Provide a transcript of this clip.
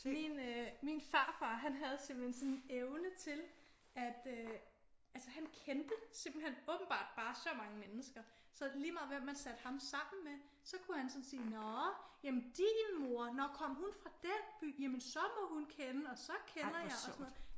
Min øh min farfar han havde simpelthen sådan en evne til at han øh han kendte åbenbart bare så mange mennesker så lige meget hvem man satte ham sammen med så kunne han sådan sige nå din mor? Nå kommer hun fra den by? Jamen så må hun kende og så kender jeg og sådan noget